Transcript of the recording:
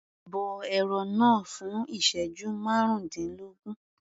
Bọ ẹran náà fún ìsẹ́jú márùndínlógún.